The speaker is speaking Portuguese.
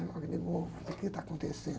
Sabe, o que está acontecendo?